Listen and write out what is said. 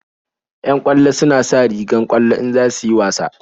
Yan ƙwallo suna sa rigar ƙwallo in za su yi wasa